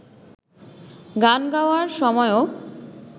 গান গাওয়ার সময়ও